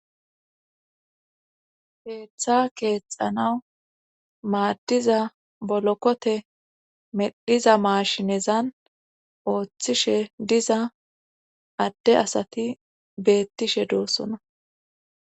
Keeththa keexanawu maaddiza bolokote medhiza maashinezan ooththishe diza adde asati beettishe doossona